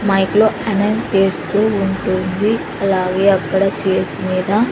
mic లో announce చేస్తూ ఉంటుంది అలాగే అక్కడ చేర్స్ మీద--